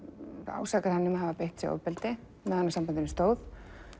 ásakar hann um að hafa beitt sig ofbeldi meðan á sambandinu stóð